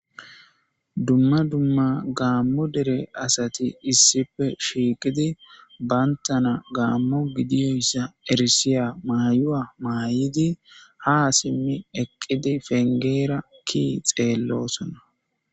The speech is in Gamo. Duma duma gammo dere assati issipe shiqidi banittana gamo gidezayisa erisiya mayuwa mayidi ha simi eqi penigera kiyi xellosona